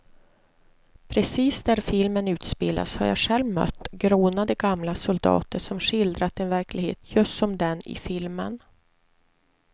Precis där filmen utspelas har jag själv mött grånade gamla soldater som skildrat en verklighet just som den i filmen.